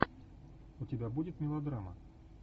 у тебя будет мелодрама